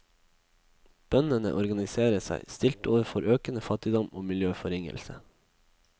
Bøndene organiserer seg, stilt overfor økende fattigdom og miljøforringelse.